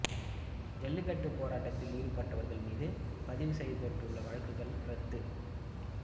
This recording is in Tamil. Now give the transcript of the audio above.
ஜல்லிக்கட்டு போராட்டத்தில் ஈடுபட்டவர்கள் மீது பதிவு செய்யப்பட்ட வழக்குகள் ரத்து